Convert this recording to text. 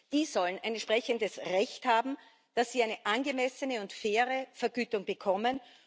Sie sollen ein entsprechendes Recht haben, dass sie eine angemessene und faire Vergütung bekommen.